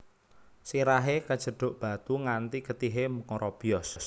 Sirahé kejeduk batu nganthi getihé ngrobyos